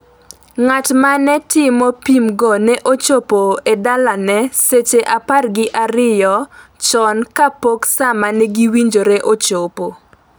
Ng’at ma ne timo pimgo ne ochopo e dalane seche apar gi ariyo chon kapok sa ma ne giwinjore ochopo.